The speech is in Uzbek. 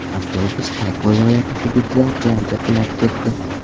Avtobus Tak viloyati hududida jarga qulab ketdi.